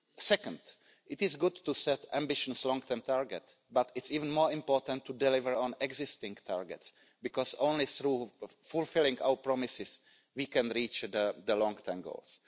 Second, it is good to set ambitious long term targets, but it's even more important to deliver on existing targets because only through fulfilling our promises can we reach the long term goals.